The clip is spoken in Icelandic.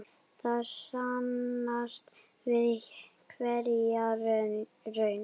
Það sannast við hverja raun.